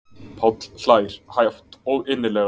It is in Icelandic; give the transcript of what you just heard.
Páll hlær hátt og innilega.